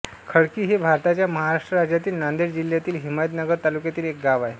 खडकी हे भारताच्या महाराष्ट्र राज्यातील नांदेड जिल्ह्यातील हिमायतनगर तालुक्यातील एक गाव आहे